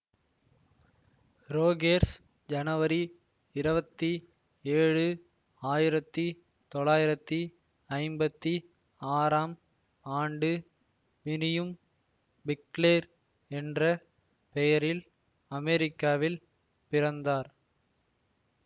Rogers ஜனவரி இரவத்தி ஏழு ஆயிரத்தி தொளாயிரத்தி ஐம்பத்தி ஆறாம் ஆண்டு மிரியம் பிக்லேர் என்ற பெயரில் அமெரிக்காவில் பிறந்தார்